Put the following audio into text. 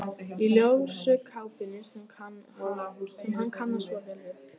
Í ljósu kápunni sem hann kannast svo vel við.